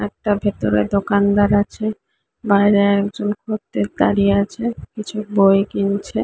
একটা ভেতরে দোকানদার আছে। বাইরে একজন খদ্দের দাঁড়িয়ে আছে কিছু বই কিনছে।